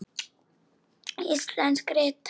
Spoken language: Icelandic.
Íslensk rit